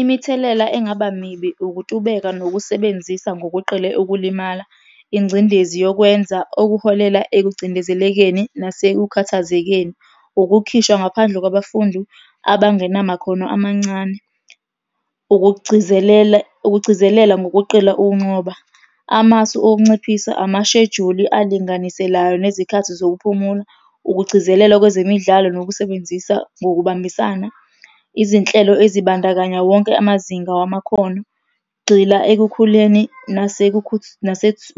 Imithelela engaba mibi ukutubeka nokusebenzisa ngokweqile ukulimala, ingcindezi yokwenza okuholela ekucindezelekeni nasekukhathazekeni. Ukukhishwa ngaphandle kwabafundi abangenamakhono amancane. Ukugcizelela, ukugcizelela ngokuqela ukunxoba. Amasu okunciphisa, amashejuli alinganiselayo nezikhathi zokuphumula, ukugcizelela kwezemidlalo nokusebenzisa ngokubambisana. Izinhlelo ezibandakanya wonke amazinga wamakhono. Gxila ekukhuleni